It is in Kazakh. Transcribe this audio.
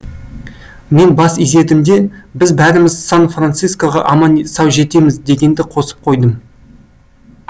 мен бас изедім де біз бәріміз сан францискоға аман сау жетеміз дегенді қосып қойдым